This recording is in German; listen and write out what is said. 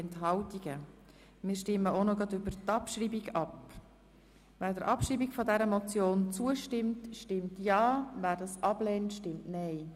Wer sie abschreiben will, stimmt ja, wer das ablehnt, stimmt nein.